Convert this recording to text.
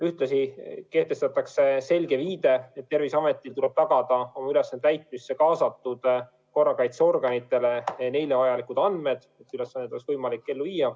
Ühtlasi antakse selge viide, et Terviseametil tuleb tagada oma ülesannete täitmisse kaasatud korrakaitseorganitele vajalikud andmed, et ülesandeid oleks võimalik ellu viia.